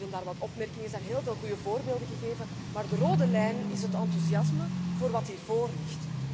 Er waren hier en daar wat opmerkingen. Er zijn heel veel goede voorbeelden gegeven. Maar de rode lijn is het enthousiasme voor wat hier voorligt.